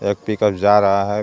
एक पिकअप जा रहा है.